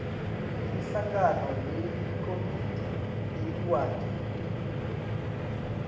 imihlangano yelikomidi leliwadi